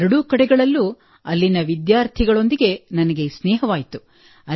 ಎರಡೂ ಕಡೆಗಳಲ್ಲೂ ಅಲ್ಲಿನ ವಿದ್ಯಾರ್ಥಿಗಳೊಂದಿಗೆ ನನಗೆ ಸ್ನೇಹವಾಯಿತು